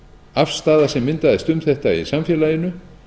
afstaða sem myndaðist um þetta i samfélaginu